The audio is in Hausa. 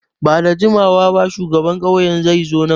Ba da jimawa ba shugaban ƙauyen zai zo nan.